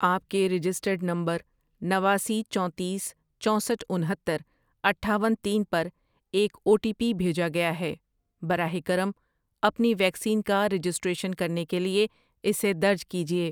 آپ کے registered number نواسی، چونتیس، چوسٹھ ،انہتر، اٹھاون، تین ، پر ایک او ٹی پی بھیجا گیا ہے، براہ کرم اپنی ویکسین کا رجسٹریشن کرنے کے لیے اسے درج کیجیے۔